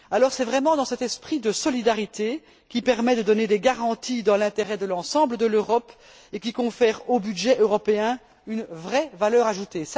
C'est vraiment cet esprit de solidarité qui permet de donner des garanties dans l'intérêt de l'ensemble de l'Europe, et qui confère au budget européen une vraie valeur ajoutée.